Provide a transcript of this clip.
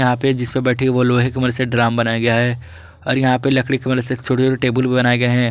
यहां पे जिसपे बैठी है वह लोहे के मदद से ड्राम बनाया गया है और यहां पे लकड़ी के मदद से एक छोटे-छोटे टेबुल भी बनाए गए हैं।